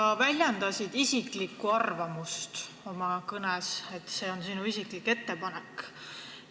Sa väljendasid oma kõnes isiklikku arvamust, see on nagu sinu isiklik ettepanek.